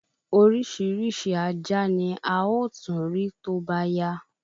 Orísirísi Ajá ni a ó tún rí tóbá yá